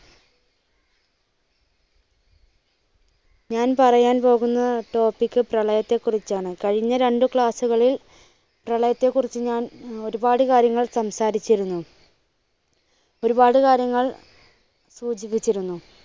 ഞാൻ പറയാൻ പോകുന്ന topic പ്രളയത്തെ കുറിച്ചാണ്. കഴിഞ്ഞ രണ്ടു class കളിൽ പ്രളയത്തെ കുറിച്ച് ഞാൻ ഒരുപാട് കാര്യങ്ങൾ സംസാരിച്ചിരുന്നു. ഒരുപാട് കാര്യങ്ങൾ സൂചിപ്പിച്ചിരുന്നു.